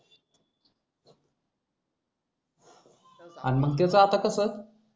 अन मग त्याच आता कस